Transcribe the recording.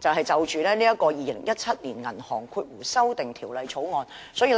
就《2017年銀行業條例草案》的發言稿。